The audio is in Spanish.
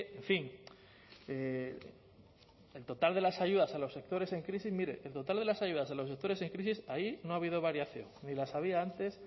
en fin el total de las ayudas a los sectores en crisis mire el total de las ayudas de los sectores en crisis ahí no ha habido variación ni las había antes